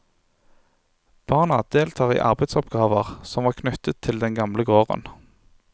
Barna deltar i arbeidsoppgaver som var knyttet til den gamle gården.